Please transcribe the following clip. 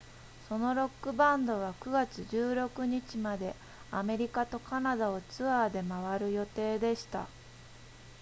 そのロックバンドは9月16日までアメリカとカナダをツアーで回る予定でした